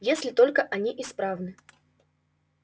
если только они исправны